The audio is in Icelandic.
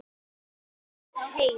Ég strika yfir nöfnin.